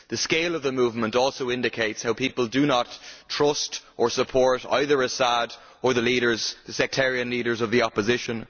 The scale of the movement also indicates how people do not trust or support either Assad or the sectarian leaders of the opposition.